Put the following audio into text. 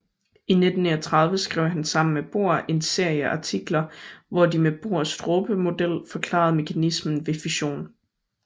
I 1939 skrev han sammen med Bohr en serie artikler hvor de med Bohrs dråbemodel forklarede mekanismen ved fission